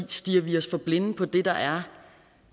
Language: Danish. stirrer vi os for blinde på det der er